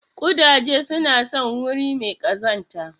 Ƙudaje suna son wuri mai kazanta.